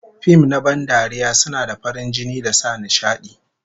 Fim na ban dariya suna da farin jini da sa nishadi